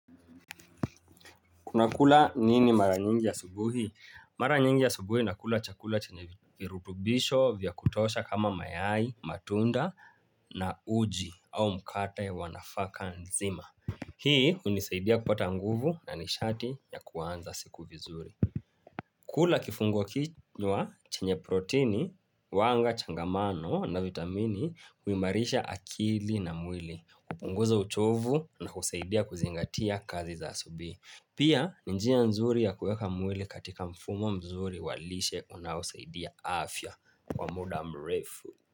Una kula nini mara nyingi ya subuhi? Mara nyingi asubuhi nakula chakula chenye virutubisho vya kutosha kama mayai, matunda na uji au mkate wa nafaka nzima. Hii hunisaidia kupata nguvu na nishati ya kuanza siku vizuri. Kula kifungua kichwa chenye proteini, huwanga changamano na vitamini huimarisha akili na mwili, kupunguza uchovu na kusaidia kuzingatia kazi za asubuhi. Pia ni njia nzuri ya kueka mwili katika mfumo mzuri walishe unaosaidia afya kwa muda mrefu.